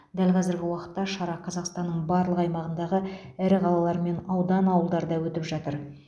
дәл қазіргі уақытта шара қазақстанның барлық аймағындағы ірі қалалар мен аудан ауылдарда өтіп жатыр